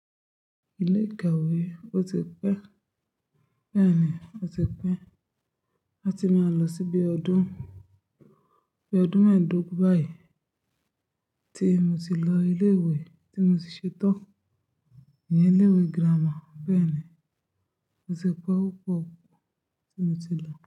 Ilé ìkàwé o ti pẹ́, bẹ́ẹ̀ni o ti pẹ́, a ti máa lọ síbi ọdún, bí ọdún mẹ́ẹ̀dógún báyìí tí mo ti lọ ilé ìwé tí mo ti ṣetán, ìyẹn ilé ìwé girama. Bẹ́ẹ̀ni, o ti pẹ́, ó pọ̀ tí mo ti lọ.